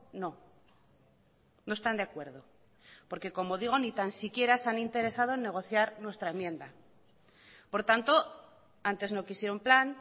no no están de acuerdo porque como digo ni tan siquiera se han interesado en negociar nuestra enmienda por tanto antes no quisieron plan